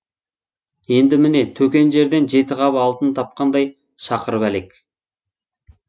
енді міне төкен жерден жеті қап алтын тапқандай шақырып әлек